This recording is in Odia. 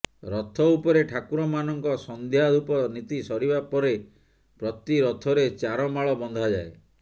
ରଥ ଉପରେ ଠାକୁରମାନଙ୍କ ସନ୍ଧ୍ୟା ଧୂପ ନୀତି ସରିବା ପରେ ପ୍ରତି ରଥରେ ଚାରମାଳ ବନ୍ଧାଯାଏ